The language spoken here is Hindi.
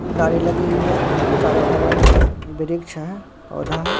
गाड़ी लगी हुई है चारों बगल वृक्ष है पौधा है।